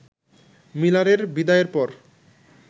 মিলারের বিদায়ের পর